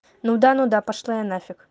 ну да ну да пошла я нафиг